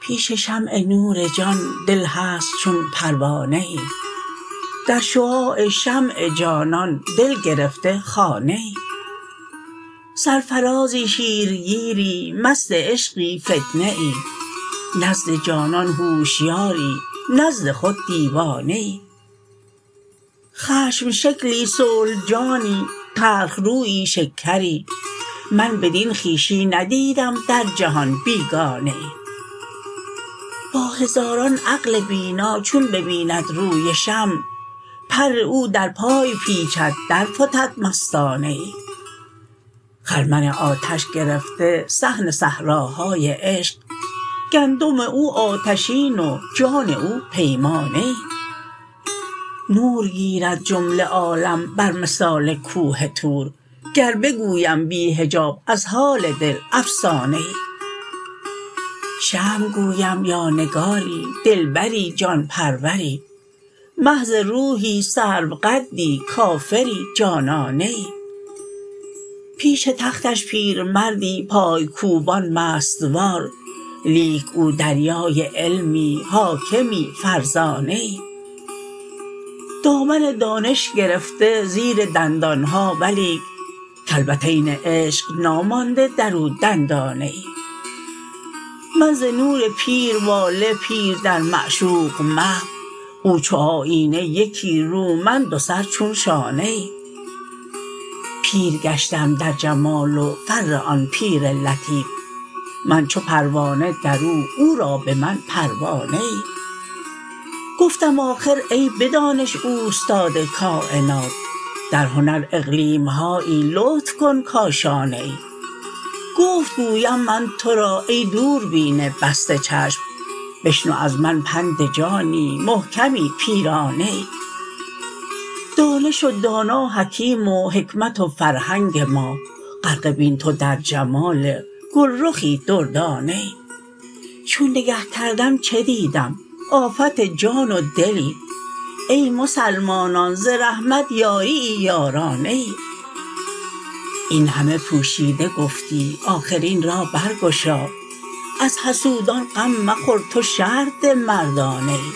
پیش شمع نور جان دل هست چون پروانه ای در شعاع شمع جانان دل گرفته خانه ای سرفرازی شیرگیری مست عشقی فتنه ای نزد جانان هوشیاری نزد خود دیوانه ای خشم شکلی صلح جانی تلخ رویی شکری من بدین خویشی ندیدم در جهان بیگانه ای با هزاران عقل بینا چون ببیند روی شمع پر او در پای پیچد درفتد مستانه ای خرمن آتش گرفته صحن صحراهای عشق گندم او آتشین و جان او پیمانه ای نور گیرد جمله عالم بر مثال کوه طور گر بگویم بی حجاب از حال دل افسانه ای شمع گویم یا نگاری دلبری جان پروری محض روحی سروقدی کافری جانانه ای پیش تختش پیرمردی پای کوبان مست وار لیک او دریای علمی حاکمی فرزانه ای دامن دانش گرفته زیر دندان ها ولیک کلبتین عشق نامانده در او دندانه ای من ز نور پیر واله پیر در معشوق محو او چو آیینه یکی رو من دوسر چون شانه ای پیر گشتم در جمال و فر آن پیر لطیف من چو پروانه در او او را به من پروانه ای گفتم آخر ای به دانش اوستاد کاینات در هنر اقلیم هایی لطف کن کاشانه ای گفت گویم من تو را ای دوربین بسته چشم بشنو از من پند جانی محکمی پیرانه ای دانش و دانا حکیم و حکمت و فرهنگ ما غرقه بین تو در جمال گل رخی دردانه ای چون نگه کردم چه دیدم آفت جان و دلی ای مسلمانان ز رحمت یاری ای یارانه ای این همه پوشیده گفتی آخر این را برگشا از حسودان غم مخور تو شرح ده مردانه ای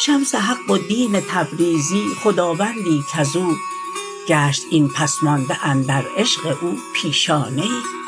شمس حق و دین تبریزی خداوندی کز او گشت این پس مانده اندر عشق او پیشانه ای